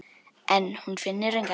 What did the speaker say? En hún finnur enga lykt.